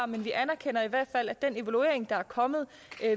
men vi anerkender i hvert fald at den evaluering der er kommet